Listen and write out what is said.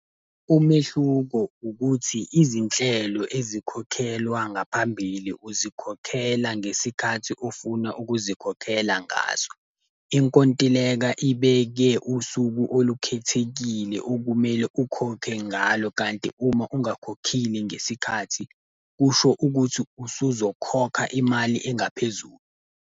Umehluko ukuthi izinhlelo ezikhokhelwa ngaphambili uzikhokhela ngesikhathi ofuna ukuzikhokhela ngaso. Inkontileka ibeke usuku olukhethekile okumele ukhokhe ngalo, kanti uma ungakhokhile ngesikhathi kusho ukuthi usuzokhokha imali engaphezulu.